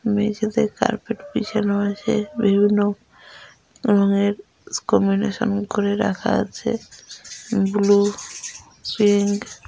মেঝেতে কার্পেট বিছানো আছে | বিভিন্ন রঙের করে রাখা আছে | ব্লু পিঙ্ক --